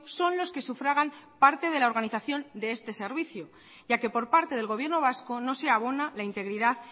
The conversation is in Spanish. son los que sufragan parte de la organización de este servicio ya que por parte del gobierno vasco no se abona la integridad